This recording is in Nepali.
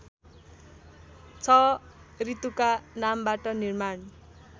६ ऋतुका नामबाट निर्माण